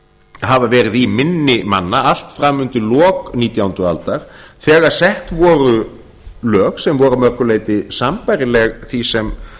hafa verið í minni manna allt fram undir lok nítjándu aldar þegar sett voru lög sem voru að mörgu leyti sambærileg því sem